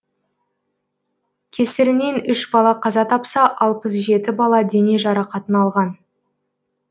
кесірінен үш бала қаза тапса алпыс жеті бала дене жарақатын алған